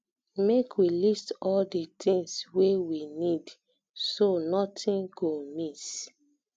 make we list all di tins wey we need so notin go miss